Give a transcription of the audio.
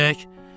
Gedək.